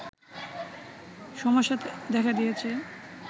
সমস্যা দেখা দিয়েছে